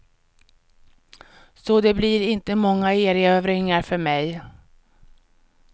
Så det blir inte många erövringar för mig.